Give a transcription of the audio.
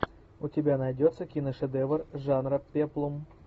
у тебя найдется киношедевр жанра пеплум